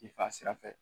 I fa sira fɛ